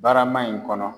Barama in kɔnɔ